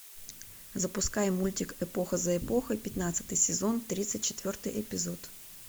запускай мультик эпоха за эпохой пятнадцатый сезон тридцать четвертый эпизод